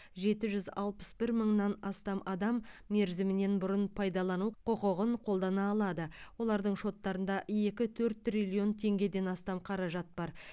жеті жүз алпыс бір мыңнан астам адам мерзімінен бұрын пайдалану құқығын қолдана алады олардың шоттарында екі төрт триллион теңгеден астам қаражат бар